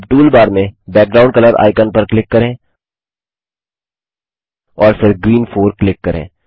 अब टूलबार में background colour icon पर क्लिक करें और फिर ग्रीन 4 क्लिक करें